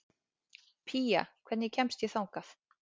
Pía, hvernig kemst ég þangað?